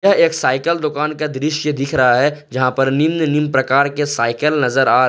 एक साइकल दुकान का दृश्य दिख रहा है जहां पर निम्न निम्न प्रकार के साइकल नजर आ--